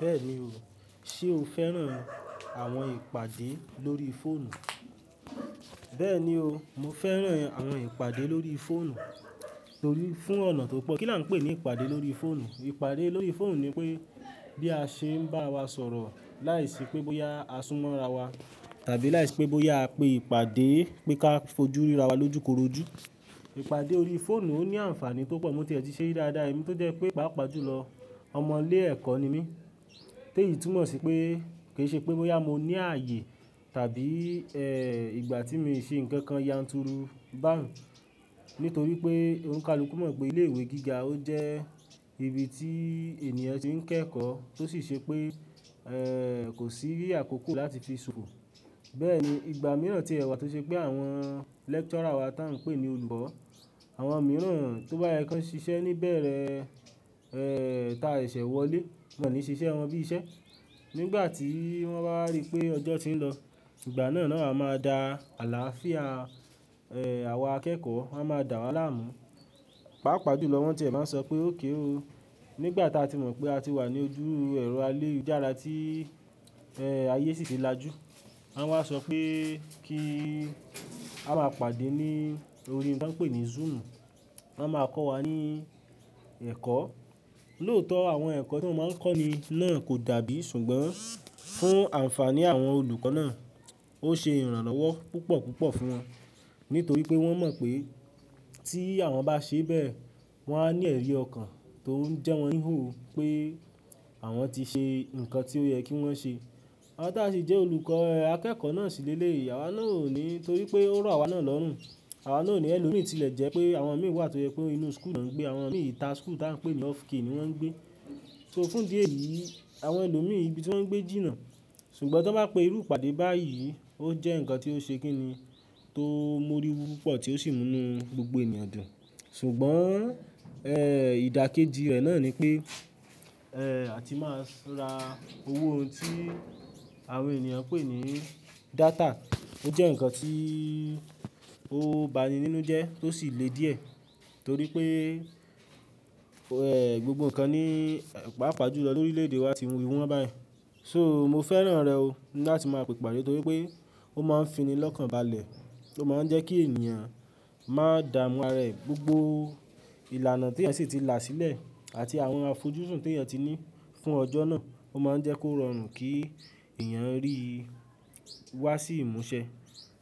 Bẹ́ẹ̀ni o, ṣe o fẹ́ràn àwọn ìpàdé lórí fóònù? Bẹ́ẹ̀ni o, mo fẹ́ràn àwọn ìpàdé lórí fóònù torí fún ọ̀nà tó pọ̀ kí là ń pè ní ìpàdé lórí fóònù. Ìpàdé lórí fóònù ni pé bí a ṣe ń bá wa sọ̀rọ̀ láìsí pé bóyá a súnmọ́ ara wa tàbí láìsí pé bóyá a pé ìpàdé pé ká fojú rí ara wa lójúkorojú. Ìpàdé órí fóònù ó ní àǹfààní púpọ̀, mo ti ẹ̀ ti ṣẹ́ ri dáadáa, èmí tó jẹ́ pé pàápàá jùlọ ọmọ ilé ẹ̀kọ́ ni mí. Tẹ́ ì túmọ̀ sí pé kì í ṣe pé bóyá mo ní ààyè tàbí, ẹ́, ìgbà tí mi ṣe nǹkan kan yanturu, báǹ nì torí pé óńka lọ́kùnún mọ̀ pé ilé ìwé gíga ó jẹ́ ibi tí ènìyàn ti ń kẹ́kọ̀ọ́ tó sì ṣe pé, ẹ́, kò sí yíyà kòkò láti fi sùn. Bẹ́ẹ̀ni, ìgbà mìíràn tí ẹ wà tó ṣe pé àwọn lecturer wa tí à ń pè ní olùkọ́, àwọn mìíràn tó bá yẹ ká ṣiṣẹ́ níbẹ̀rẹ̀, ẹ́, ta sẹ̀ṣẹ̀ wọlé, wọ́n ò ní ṣiṣẹ́ wọn bí i iṣẹ́. Nígbà tí wọ́n bá rí i pé ọjọ́ tí ń lọ, ìgbà náà náà a máa da àlàáfíà, ẹ́, àwọn akẹ́kọ̀ọ́ a máa dà wa làmú. Paapaa júlọ, wọ́n ti máa ń sọ pé ókéró. Nígbà tí a ti mọ̀ pé a ti wà ní ojúru ẹro ayelujára tí, ẹ́, ayé sì ti lajú. Wọ́n máa sọ pé kí a máa pàdé ní orí ohun tí wọ́n ń pè ní Zoom, wọ́n máa kọ́ wa ní ẹ̀kọ́. Lóòótọ́ àwọn ẹ̀kọ́ tí wọ́n máa ń kọ́ni náà kò dàbí ṣùgbọ́n fún àǹfààní àwọn olùkọ́ náà ó ṣe ìrànlọ́wọ́ púpọ̀ púpọ̀ fún wọn, nítorí pé wọ́n mọ̀ pé tí àwọn bá ṣe bẹ́ẹ̀ wọ́n á ní ẹ̀rí ọkàn tó ń jẹ́ wọ́n yhò pé àwọn ti ṣe nǹkan tí ó yẹ kí wọ́n ṣe. Awa tá ṣe jẹ́ olùkọ́ akẹ́kọ̀ọ́ náà síléle, àwa náà ò ní torí pé ó rọ̀ àwa náà lọ́rùn, àwa náà ò ní ẹlòmíì tílẹ̀ jẹ́ pé àwọn mìíràn tó yẹ pé inú school náà ń gbé, àwọn mìíràn ìta school tí à ń pè ní off key ni wọ́n ń gbé. So fún díè yìí, àwọn ẹlòmíì ibi tí wọ́n ń gbé jìnnà, ṣùgbọ́n tí wọ́n bá pe irú ìpàdé báyìí ó jẹ́ ǹkan tí ó ṣe kín ni, tó ń mú orí wu púpọ̀ tí ó sì mú ní gbogbo ènìyàn dun. Ṣùgbọ́n, ẹ́, ìdákéji rẹ̀ náà ni pé, ẹ́, a ti máa ra owó ohun tí àwọn ènìyàn ń pè ní data. Ó jẹ́ ǹkan tí ó bani nínú jẹ tó sì le díẹ̀ torí pé, ẹ́, gbogbo ǹkan ní pàápàá jùlọ lórí orí ilé ìdíwa ti ń wíwọ́n báyìí. So mo fẹ́ràn rẹ̀ o láti máa pe ìpàdé torí pé ó máa ń finilọ́kànbalẹ̀, ó máa ń jẹ́ kí ènìyàn má dààmú ara rẹ̀ gbogbo ìlànà tí ẹ̀ sì ti là sílẹ̀ àti àwọn àfojúsùn tí ẹ̀ ti ní fún ọjọ́ náà, ó má ń jẹ́ kó rọrùn kí ènìyàn rí i wá sí ìmúṣẹ.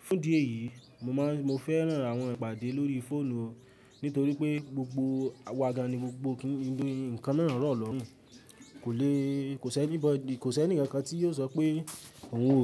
Fún díè yìí, mo máa ń, mo fẹ́ràn àwọn ìpàdé lórí fóònù o nítorí pé gbogbo àwa gani gbogbo kí ń, ńkan míràn rọ̀ lọ́rùn. Kò le, kò sí anybody, kò sí ẹnìkankan tí yóò sọ pé òun.